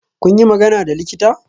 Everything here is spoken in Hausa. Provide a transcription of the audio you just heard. Kun yi magana da likita?